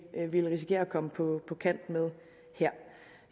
ville risikere at komme på kant med